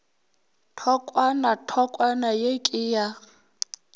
thokwana thokwana ye ke ya